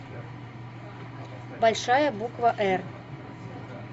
большая буква эр